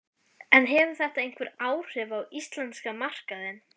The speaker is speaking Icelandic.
En hefur þetta einhver áhrif á íslenska markaðinn?